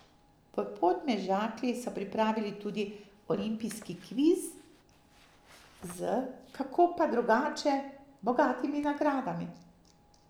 V Podmežakli so pripravili tudi olimpijski kviz z, kako pa drugače, bogatimi nagradami.